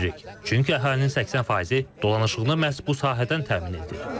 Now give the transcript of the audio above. Çünki əhalinin 80 faizi dolanışığını məhz bu sahədən təmin edir.